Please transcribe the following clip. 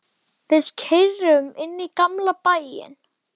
Við keyrum inn í gamla bæinn.